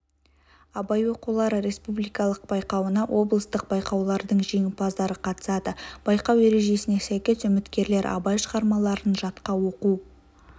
абай оқулары республикалық байқауына облыстық байқаулардың жеңімпаздары қатысады байқау ережесіне сәйкес үміткерлер абай шығармаларын жатқа оқу